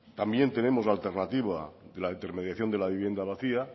también tenemos la alternativa la intermediación de la vivienda vacía